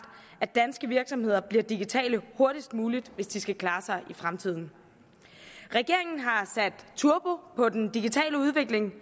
at danske virksomheder bliver digitale hurtigst muligt hvis de skal klare sig i fremtiden regeringen har sat turbo på den digitale udvikling